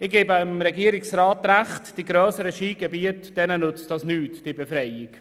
Ich gebe dem Regierungsrat Recht, dass diese Steuerbefreiung den grösseren Skigebieten nichts bringt.